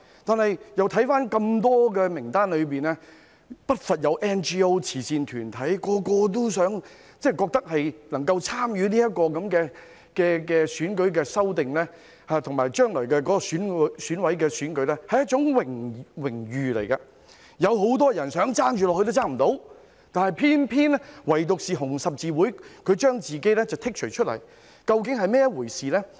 我看到名單中不乏有 NGO 及慈善團體，它們都覺得能夠參與有關選舉的修訂及將來選委會的選舉是一種榮譽，有很多人想加入也不能做到，唯獨紅十字會要求將自己剔除名單外，究竟這是甚麼一回事呢？